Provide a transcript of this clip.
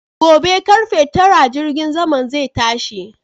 Gobe karfe Tara jirgin saman zai tashi